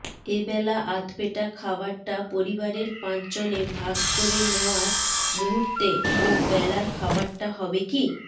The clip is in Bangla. এ বেলা আধপেটা খাবারটা পরিবারের পাঁচজনে ভাগ করে নেওয়ার মুহূর্তে ও বেলার খাবারটা হবে কী